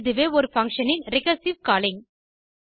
இதுவே ஒரு பங்ஷன் இன் ரிகர்சிவ் காலிங்